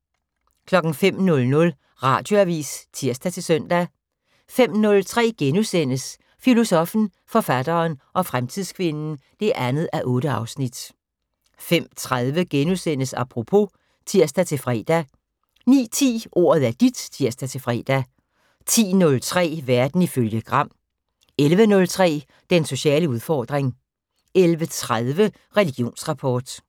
05:00: Radioavis (tir-søn) 05:03: Filosoffen, forfatteren og fremtidskvinden 2:8 * 05:30: Apropos *(tir-fre) 09:10: Ordet er dit (tir-fre) 10:03: Verden ifølge Gram 11:03: Den sociale udfordring 11:30: Religionsrapport